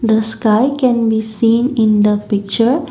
the sky can be seen in the picture.